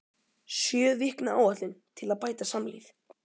SJÖ VIKNA ÁÆTLUN TIL AÐ BÆTA SAMLÍF